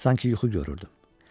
Sanki yuxu görürdüm.